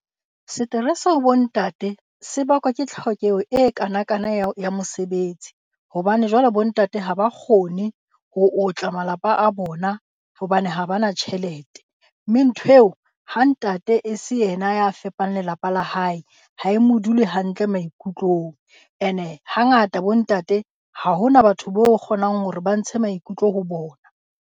Seterese ho bo ntate se bakwa ke tlhokeho e kanakana ya ho ya mosebetsi, hobane jwale bo ntate ha ba kgone ho otla malapa a bona hobane ha ba na tjhelete. Mme ntho eo ha ntate e se ena ya fepang lelapa la hae, ha e mo dule hantle maikutlong. Ene ha ngata bo ntate ha ho na batho bo kgonang hore ba ntshe maikutlo ho bona.